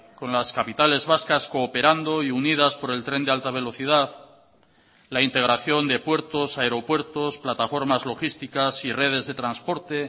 con las capitales vascas cooperando y unidas por el tren de alta velocidad la integración de puertos aeropuertos plataformas logísticas y redes de transporte